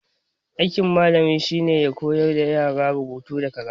Aikin malami shine koyar da yara rubutu da karatu